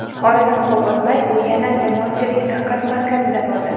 Oradan ko‘p o‘tmay, u yana jamoatchilik diqqat markazida bo‘ldi.